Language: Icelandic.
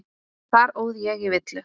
Þar óð ég í villu.